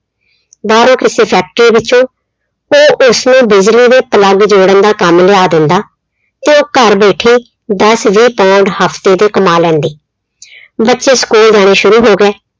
ਬਾਹਰੋਂ ਕਿਸੇ factory ਵਿੱਚੋਂ ਉਹ ਉਸਨੂੰ ਬਿਜਲੀ ਦੇ plug ਜੋੜਨ ਦਾ ਕੰਮ ਲਿਆ ਦਿੰਦਾ ਤੇ ਉਹ ਘਰ ਬੈਠੀ ਦਸ ਵੀਹ pond ਹਫ਼ਤੇ ਦੇ ਕਮਾ ਲੈਂਦੀ। ਬੱਚੇ school ਜਾਣੇ ਸ਼ੁਰੂ ਹੋ ਗਏ।